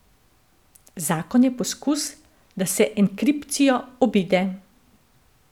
Zakon je poskus, da se enkripcijo obide.